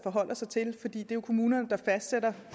står der at